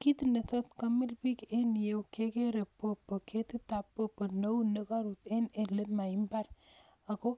Kit netot komil biik en yuh, kegeere paipai neunekorut en olemaimbar ako